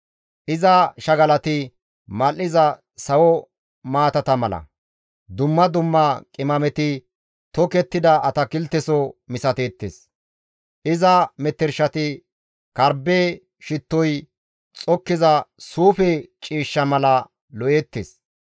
Iza shagalati mal7iza sawo maatata mala; dumma dumma qimameti tokettida atakilteso misateettes; iza metershati karbbe shittoy xokkiza suufe ciishsha mala lo7eettes.